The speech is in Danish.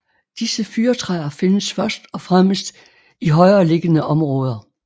Disse fyrretræer findes først og fremmest i højereliggende områder